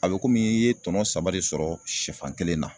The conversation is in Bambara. A bɛ komi i ye tɔnɔ saba de sɔrɔ sɛfan kelen na.